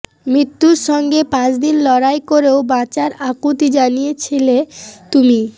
মৃত্যুর সঙ্গে পাঁচদিন লড়াই করেও বাঁচার আকুতি জানিয়েছিলে তুমি